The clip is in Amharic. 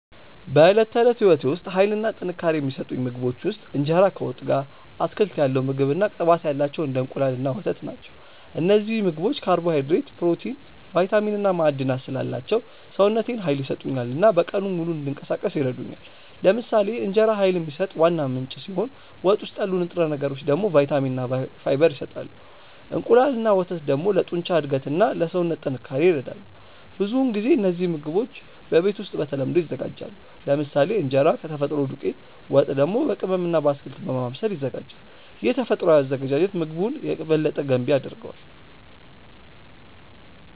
በዕለት ተዕለት ሕይወቴ ውስጥ ኃይል እና ጥንካሬ የሚሰጡኝ ምግቦች ውስጥ እንጀራ ከወጥ ጋር፣ አትክልት ያለው ምግብ እና ቅባት ያላቸው እንደ እንቁላል እና ወተት ናቸው። እነዚህ ምግቦች ካርቦሃይድሬት፣ ፕሮቲን፣ ቫይታሚን እና ማዕድናት ስላላቸው ሰውነቴን ኃይል ይሰጡኛል እና በቀኑ ሙሉ እንዲንቀሳቀስ ይረዱኛል። ለምሳሌ እንጀራ ኃይል የሚሰጥ ዋና ምንጭ ሲሆን ወጥ ውስጥ ያሉ ንጥረ ነገሮች ደግሞ ቫይታሚን እና ፋይበር ይሰጣሉ። እንቁላል እና ወተት ደግሞ ለጡንቻ እድገት እና ለሰውነት ጥንካሬ ይረዳሉ። ብዙውን ጊዜ እነዚህ ምግቦች በቤት ውስጥ በተለምዶ ይዘጋጃሉ፤ ለምሳሌ እንጀራ ከተፈጥሮ ዱቄት፣ ወጥ ደግሞ በቅመም እና በአትክልት በማብሰል ይዘጋጃል። ይህ ተፈጥሯዊ አዘገጃጀት ምግቡን የበለጠ ገንቢ ያደርገዋል።